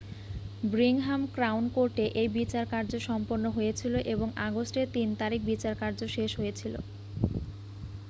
Birmingham crown কোর্টে এই বিচারকার্য সম্পন্ন হয়েছিল এবং আগস্ট এর 3 তারিখ বিচারকার্য শেষ হয়েছিল